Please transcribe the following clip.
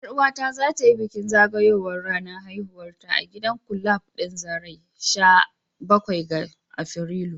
Yar uwata za ta yi bikin zagayowar ranar haihuwarta a gidan kulab din zarai sha bakwai ga Afrilu.